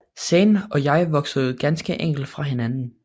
Zayn og jeg voksede ganske enkelt fra hinanden